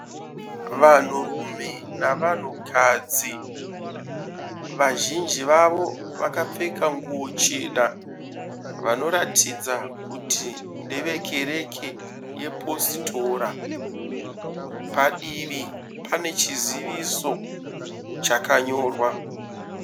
Vanhurume nevanhukadzi. Vazhinji vavo vakapfeka nguwo chena vanoratidza kuti ndevekereke yepositora. Padivi pane chiziviso chakanyorwa.